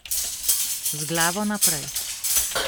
Z glavo naprej.